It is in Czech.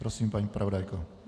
Prosím, paní zpravodajko.